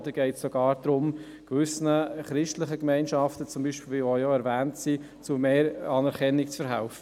Oder geht es gar darum, gewissen christlichen Gemeinschaften zu mehr Anerkennung zu verhelfen?